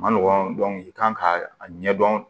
Ma nɔgɔn i kan ka a ɲɛdɔn